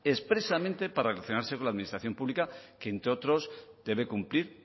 expresamente para relacionarse con la administración pública que entre otros debe cumplir